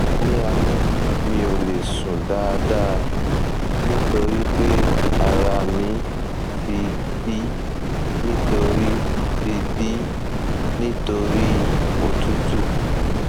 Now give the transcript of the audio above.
ní alẹ mi ò lè sùn dáadáa nítorí pé ara mi ti dí nítorí ti dí nítorí òtútù